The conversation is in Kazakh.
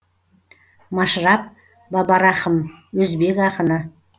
машраб бабарахым өзбек ақыны